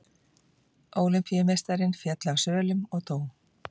Ólympíumeistarinn féll af svölum og dó